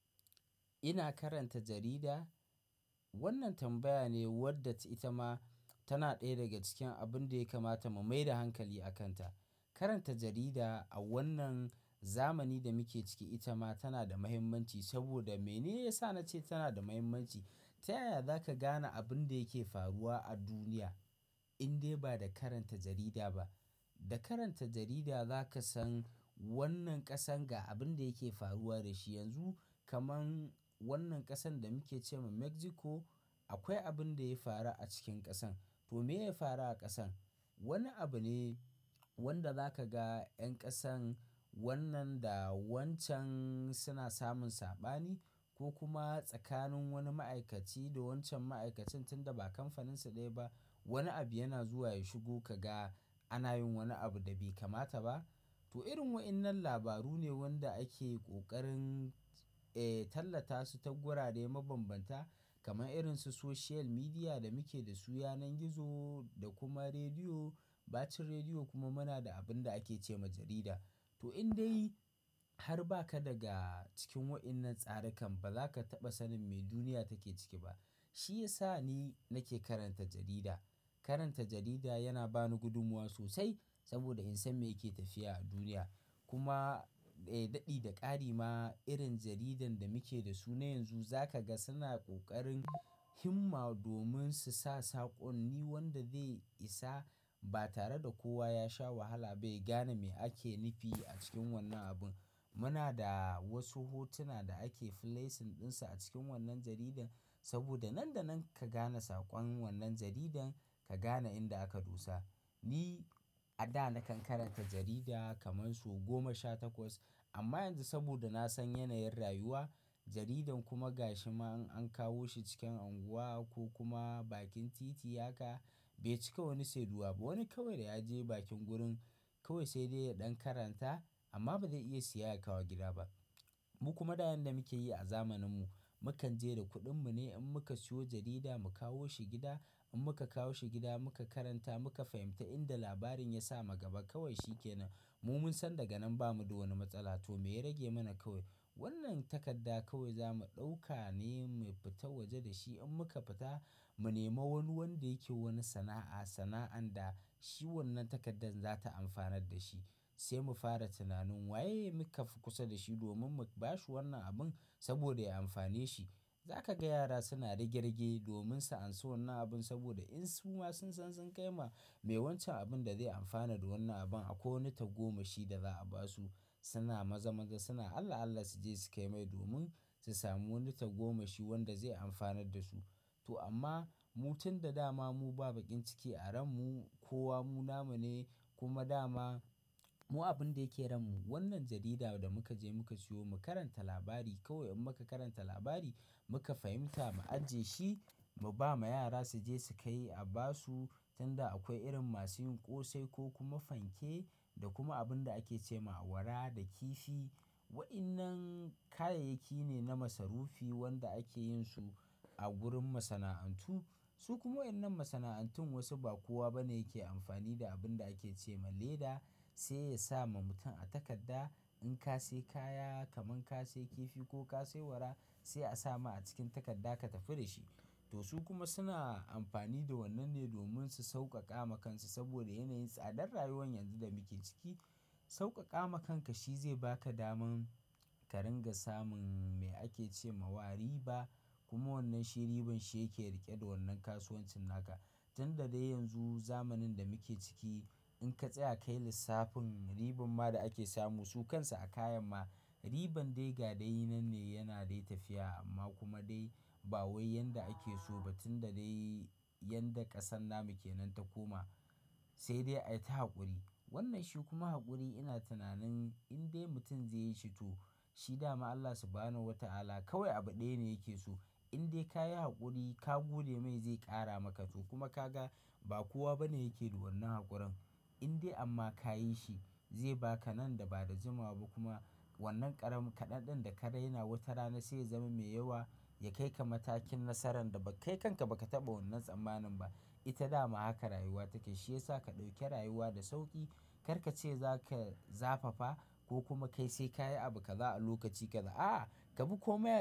Ina karanta jarida. Wannan tambaya ne wadda ita ma tana ɗaya daga cikin abin da ya kamata mu mai da hankali a kanta. Karanta jarida a wannan zamanin da muke ciki ita ma tana da mahimmanci. Saboda mene ya sa na ce tana da mahimmanci? Ta yaya za ka gane abin da yake faruwa a duniya indai ba da karanta jarida ba? Da karanta jarida za ka san wannan ƙasar ga abin da yake faruwa da shi yanzu. Kaman wannan ƙasan da muke ce ma Mexico akwai abin da ya faru a cikin ƙasan. To mene ya faru a ƙasan? Wani abu ne wanda za ka ga 'yan ƙasan wannan da wancan suna samun saɓani ko kuma tsakanin wani ma'aikaci da wancan ma'aikacin, tunda ba kamfaninsu ɗaya ba wani abu yana zuwa ya shigo ka ga ana yin wani abu da bai kamata ba. To irin waɗannan labaru ne wanda ake ƙoƙarin, allata su ta gura dai mabambanta kaman irin su social media da muke da su, yanar gizo da kuma rediyo, bakin rediyo kuma muna da abin da ake ce ma jarida. To indai har ba ka daga cikin waɗannan tsarikan ba, za ka taɓa sanin me duniya take ciki ba. Shi ya sa ni nake karanta jarida. Karanta jarida yana ba ni gudumuwa sosai saboda in san me yake tafiya a duniya. Kuma,, daɗi da ƙari ma irin jaridan da muke da su na yanzu za ka ga suna ƙoƙarin himma domin su sa saƙon. Ni wanda zai isa ba tare da kowa ya sha wahala bai gane me ake nufi a cikin wannan abun. Muna da wasu hotuna da ake flasing ɗinsa a cikin wannan jaridan. Saboda nan da nan ka gane saƙon wannan jaridan, ka gane inda aka dosa. Ni a da nakan karanta jarida kamar su goma sha takwas. Amma yanzu saboda na san yanayin rayuwa, jaridan kuma gashi ma in an kawo shi cikin unguwa ko kuma bakin titi haka bai cika wani saiduwa ba. Wani kawai da ya je bakin gurin kawai sai dai ya ɗan karanta amma ba zai iya siya ya kawo gida ba. Mu kuma da yan da muke yi a zamaninmu, mu kan je da kuɗinmu ne in muka siyo jarida mu kawo shi gida. In muka kawo shi gida muka karanta muka fahimta inda labarin ya sa makaba kawai shi yake nan. Mu mun san daga nan bamu da wani matsala to me ya rage mana kawai? Wannan takarda kawai za mu ɗauka ne mu fita waje da shi. In muka fita mu nema wani wanda yake wani sana'a, sana'an da shi wannan takardar za ta amfanar da shi sai mu fara tunanin waye muka fi kusa da shi domin mu bashi wannan abun saboda ya amfane shi. Za ka ga yara suna rige-rige domin su anso wannan abun saboda in su ma sun san sun kai ma me wancan abun da zai amfana da wannan abun akwai nuta goma shi da za a basu suna maza-maza suna Allah-Allah su je su kai mai domin su samu nuta goma shi wanda zai amfanar da su. To amma mutum da dama mu ba baƙin ciki a ranmu ko wa mu nama ne kuma da ma mu abun da yake ranmu. Wannan jaridar da muka je muka siyo mu karanta labari kawai in muka karanta labari muka fahimta mu ajiye shi mu ba ma yara su je su kai a basu. Tunda akwai irin masu yin ƙosai ko kuma fanke da kuma abun da ake ce ma awara da kifi. Waɗannan kayayyaki ne na masarufi wanda ake yin su a gurin masana'antu. Su kuma waɗannan masana'antun wasu ba kowa bane yake amfani da abun da ake ce ma leda sai ya sa ma mutum a takadda. In ka sayi kaya kaman ka sayi kifi ko ka sayi awara sai a sa ma a cikin takadda ka tafi da shi. To su kuma suna amfani da wannan ne domin su sauƙaƙa ma kansu saboda yanayin tsadar rayuwan yanzu da muke ciki. Sauƙaƙa ma kanka shi zai ba ka daman ka ringa samun me ake ce ma wari ba kuma wannan shi riban shi yake riƙe da wannan kasuwancin naka. Tunda dai yanzu zamanin da muke ciki in ka tsaya kai lissafin riban ma da ake samu su kansu a kayan ma riban dai ga dai nan ne yana dai tafiya amma kuma dai ba wai yanda ake so ba. Tunda dai yanda ƙasan da muke nan ta koma sai dai ta haƙuri. Wannan shi kuma haƙuri ina tunanin indai mutum zai yi shi to shi dama Allah su bani wata ala kawai abu ɗaya ne yake so. Indai ka yi haƙuri ka gode mai zai ƙara maka to kuma ka ga ba kowa bane yake da wannan haƙuran. Indai amma ka yi shi zai ba ka nan da ba da juma ba kuma wannan ƙaramin kaɗan ɗin da ka raina wata rana sai ya zama mai yawa ya kai ka matakin nasaran da bai kai kanka baka taɓa wannan tsammanin ba. Ita dama haka rayuwa take. Shi ya sa ka ɗauke rayuwa da sauƙi. Kar ka ce za ka zafafa ko kuma ka yi sai kaya abu ka za a lokaci kaɗa. Aaa kabi komai.